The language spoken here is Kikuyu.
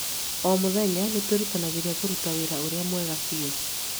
O mũthenya nĩ twĩrutanagĩria kũruta wĩra ũrĩa mwega biũ.